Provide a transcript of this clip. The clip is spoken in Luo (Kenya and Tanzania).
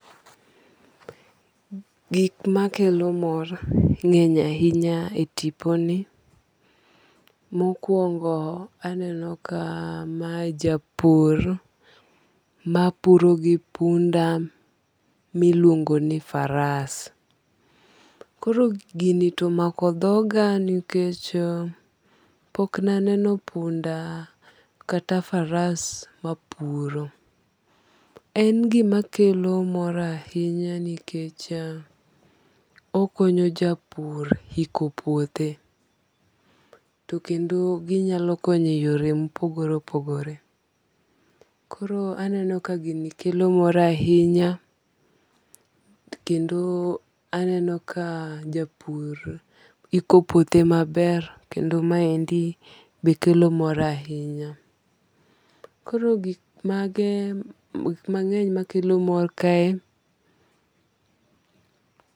Gik makelo mor ng'eny ahinya e tipo ni. Mokwongo, aneno ka ma japur mapuro gi punda miluongo ni faras. Koro gini tomako dhoka nikech pok ne aneno punda kata faras mapuro. En gima kelo mor ahinya nikech okonyo japur iko puothe. To kendo ginyalo konyo e yore mopogore opogore. Koro aneno ka gini kelo mor ahinya kendo aneno ka japur iko puothe maber kendo ma endi be kelo mor ahinya. Koro gik mang'eny makelo mor kae.